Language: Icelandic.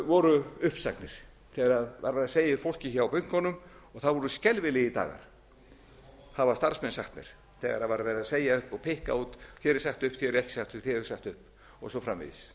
þegar var verið að segja upp fólki hjá bönkunum það voru skelfilegir dagar hafa starfsmenn sagt mér þegar var verið að segja upp og pikka út þér er sagt upp þér er ekki sagt upp þér er sagt upp og svo framvegis